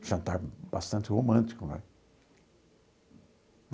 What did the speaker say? Jantar bastante romântico, né?